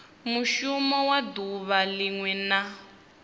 mushumo wa duvha linwe na